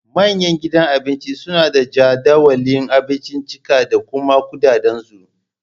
Manyan gidan Abinci suna da jadawalin abinciccika da kuma kuɗaɗen su